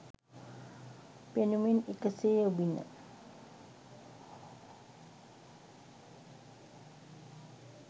පෙනුමෙන් එක සේ ඔබින